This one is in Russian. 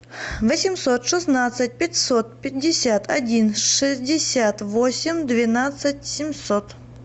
восемьсот шестнадцать пятьсот пятьдесят один шестьдесят восемь двенадцать семьсот